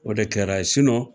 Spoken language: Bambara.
O de kɛra ye